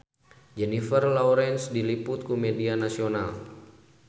Jennifer Lawrence diliput ku media nasional